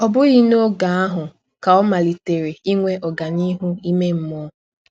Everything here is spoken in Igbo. Ọ bụghị n’ọge ahụ ka ọ malitere inwe ọganihu ime mmụọ.